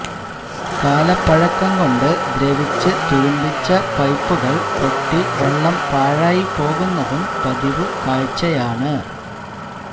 കാലപ്പഴക്കം കൊണ്ട് ദ്രവിച്ച് തുരുമ്പിച്ച പൈപ്പുകള് പൊട്ടി വെള്ളം പാഴായിപ്പോകുന്നതും പതിവുകാഴ്ചയാണ്